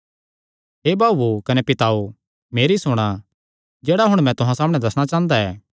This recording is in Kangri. हे भाऊओ कने पिताओ मेरी सुणा जेह्ड़ा हुण मैं तुहां सामणै दस्सणा चांह़दा ऐ